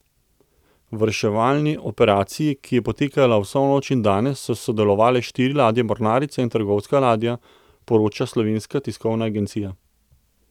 V reševalni operaciji, ki je potekala vso noč in danes, so sodelovale štiri ladje mornarice in trgovska ladja, poroča Slovenska tiskovna agencija.